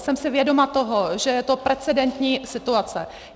Jsem si vědoma toho, že je to precedentní situace.